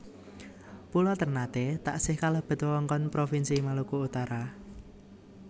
Pulo Térnaté taksih kalebet wewengkon Propinsi Maluku Utara